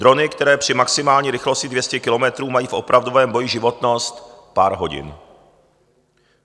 Drony, které při maximální rychlosti 200 kilometrů mají v opravdovém boji životnost pár hodin.